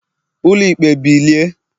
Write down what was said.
ulo ikpe bilie!